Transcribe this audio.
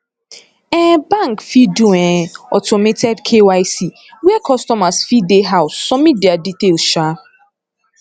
um bank fit do um automated kyc where customers fit dey house submit their details um